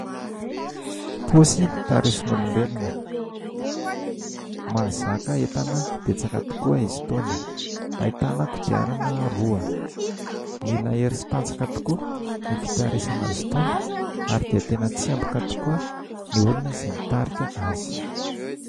Posy tarisin'olombelona, mazaka entana betsaka tokoa izy itony, ahitana kodiarana roa, mila hery sy tanjaka tokoa ny fitarisana azy itony ary dia tena tsemboka tokoa ny olona izay mitarika azy.